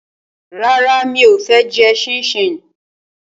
Rárá, mi ò fẹ́ jẹ ṣíníṣíní